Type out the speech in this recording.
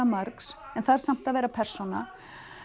margs en þarf samt að vera persóna